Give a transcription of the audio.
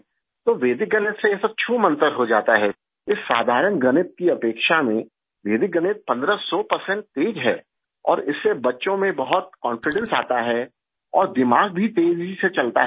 تو Vedic math پندرہ سو پرسینٹ تیز ہے اور اس سے بچوں میں بہت کانفیڈنس آتا ہے اور دماغ بھی تیزی سے چلتا ہے